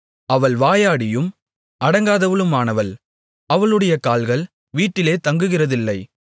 அவள் வாயாடியும் அடங்காதவளுமானவள் அவளுடைய கால்கள் வீட்டிலே தங்குகிறதில்லை